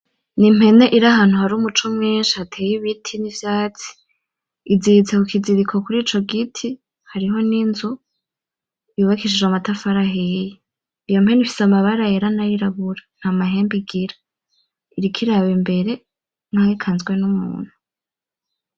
Ni impene iri ahantu hari umuco mwinshi hateye ibiti n'ivyatsi, iziritse ku kiziriko kurico giti hariho n'inzu yubakishije amatafari ahiye, iyo mpene ifise amabara yera nayirabura nta mahembe igira iriko iraba imbere nkaho ikanzwe numuntu.